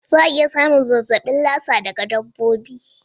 Za a iya samun zazzabin Lassa daga dabbobi.